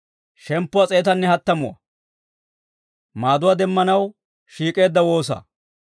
Abeet Med'inaa Godaw, taani metuwaa c'iimman de'aadde, neekko waassay.